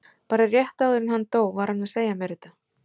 Bara rétt áður en hann dó var hann að segja mér þetta.